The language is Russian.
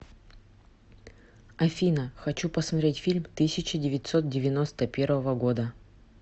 афина хочу посмотреть фильм тысяча девятьсот девяносто первого года